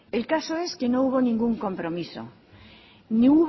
el caso es que nos hubo ningún compromiso